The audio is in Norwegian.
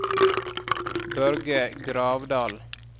Børge Gravdal